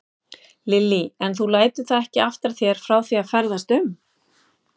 Lillý: En þú lætur það ekki aftra þér frá því að ferðast um?